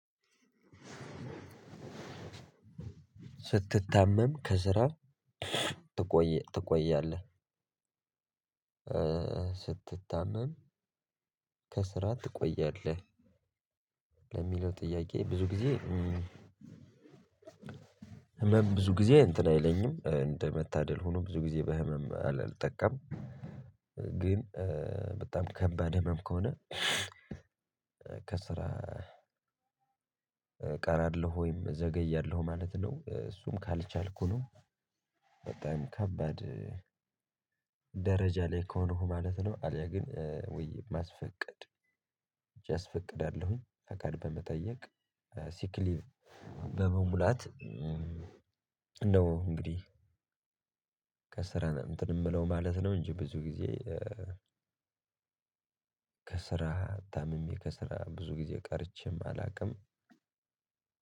ስትታመም ከስራ ትቆይ ትቆያለህ? ስትታመም ከስራ ትቆያለህ ለሚለው ጥያቄ ብዙ ጊዜ። ህመም ብዙ ጊዜ እንትን አይለኝም እንደ መታደል ሆኖ ብዙ ጊዜ በህመም አልጠቃም። ግን በጣም ከባድ ህመም ከሆነ። ከስራ እቀራለሁ ወይም ዘገያለሁ ማለት ነው። እሱም ካልቻልኩ ነው። በጣም ከባድ ደረጃ ላይ ከሆኑው ማለት ነው። አልያ ግን ውይ ማስፈቀድ ሄጄ አስፈቅዳለውኝ ፍቃድ በመጠየቅ ሲክሊቭ በመሙላት። እነው እንግዲህ ከስራ እንትን የምለው ማለት ነው። እንጂ ቡዙ ግዜ ከስራ ታምሜ ከስራ ብዙ ጊዜ ቀርቼም አላውቅም።